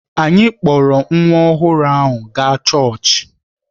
Anyị kpọọrọ nwa ọhụrụ ahụ gaa chọọchị